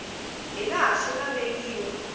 hi laha swi nga vekiwa